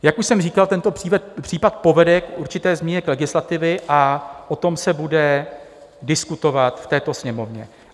Jak už jsem říkal, tento případ povede k určité změně legislativy a o tom se bude diskutovat v této Sněmovně.